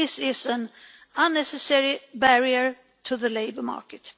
This is an unnecessary barrier to the labour market.